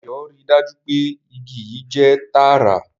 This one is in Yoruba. Dayo rí dájú pé ìgi yii jẹ tààrà